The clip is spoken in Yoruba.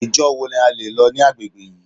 Ìjọ wo ni a lè lọ ní agbègbè yìí.